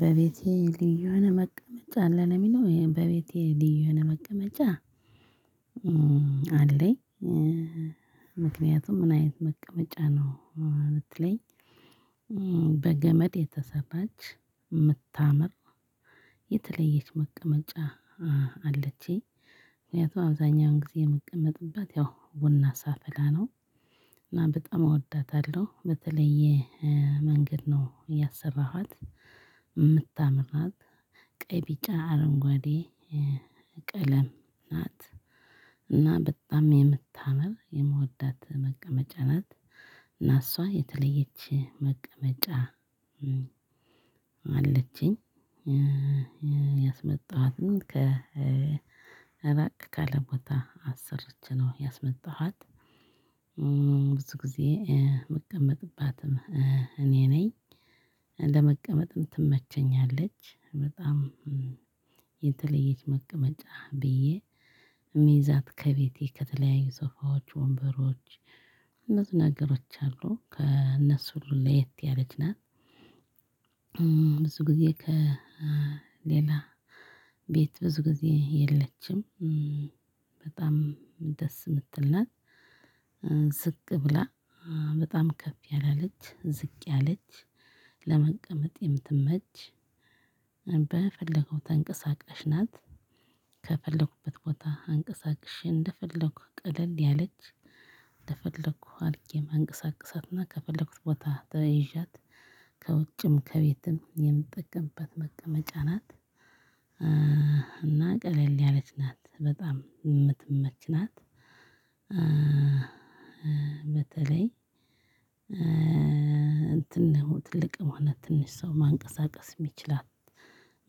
በቤቴ ልዩ የሆነ መቀመጫ አለ ለሚለው በቤቴ ልዩ የሆነ መቀመጫ አለኝ። ምክንያቱም ምን አይነት መቀመጫ ነው? ብትለኝ። በገመድ የተሰራች የምታምር የተለየች መቀመጫ። አለችኝ ምክንያቱም አብዛኛውን ጊዜ የምቀመጥበት ያው ቡና ሳፍላ ነው። እና በጣም እወዳታለሁ በተለየ መንገድ ነው ያሰራኋት የምታምራት ናት። ቀይ ቢጫ አረንጓዴ ቀለም ናት እና በጣም የምታምር የምወዳት መቀመጫ ናት። እና እሷ የተለየች መቀመጫ አለችኝ። ያስመጣኋትን ከ እራቅ ካለ ቦታ አሰርቼ ነው ያስመጣኋት። ብዙ ጊዜ ምቀመጥባትም እኔ ነኝ። ለመቀመጥም ትመቸኛለች በጣም የተለየች መቀመጫ ብዬ እምይዛት ከቤቴ ከተለያዩ ሶፋዎች ወንበሮች። አነዚህ ነገሮች አሉ ከእነሱ ሁሉ ለየት ያለችና። ብዙ ጊዜ ከሌላ ቤት ብዙ ጊዜ የለችም። በጣም ደስ የምትል ናት። ዝቅ ብላ በጣም ከፍ ያላለች ዝቅ ያለች ለመቀመጥ የምትመች በፈለገው ተንቀሳቃሽ ናት። ከፈለኩበት ቦታ አንቀሳቅሼ እንደፈለኩህ ቀለል ያለች እንደፈለኩህ አልቄ ማንቀሳቀሳትና ከፈለኩት ቦታ ተይዣት ከውጭም ከቤትም የምጠቀምበት መቀመጫ ናት። እና ቀለል ያለች ናት በጣም የምትመች ናት። በተለይ እንትን ነው ትልቅ ሆነ ትንሽ ሰው ማንቀሳቀስ ሚችላት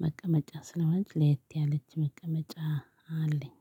መቀመጫ ስለሆነች ለየት ያለች መቀመጫ አለኝ።